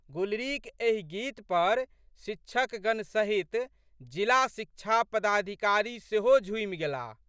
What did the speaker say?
गुलरीक एहि गीत पर शिक्षकगण सहित जिला शिक्षा पदाधिकारी सेहो झूमि गेलाह।